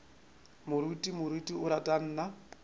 moruti moruti o ra nna